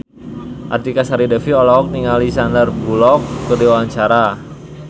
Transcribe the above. Artika Sari Devi olohok ningali Sandar Bullock keur diwawancara